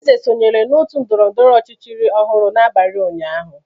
Eze sonyere n'otu ndọrọndọrọ ọchịchị ọhụrụ n'abalị ụnyaahụ.